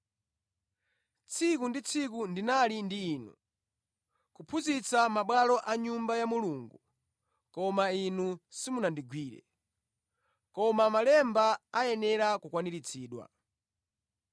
Tsiku ndi tsiku ndinali ndi inu, kuphunzitsa mʼmabwalo a Nyumba ya Mulungu, koma inu simunandigwire. Koma malemba ayenera kukwaniritsidwa.”